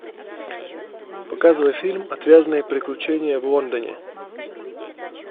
показывай фильм отвязные приключения в лондоне